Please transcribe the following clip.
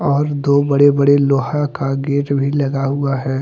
और दो बड़े बड़े लोहा का गेट भी लगा हुआ है।